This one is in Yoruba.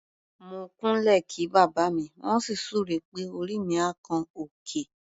Mo kúnlẹ̀ kí bàbá mi, wọ́n sì súre pé "orí mi á kan òkè".